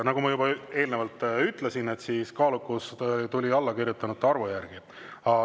Nagu ma juba eelnevalt ütlesin, kaalukus tuli allakirjutanute arvu järgi.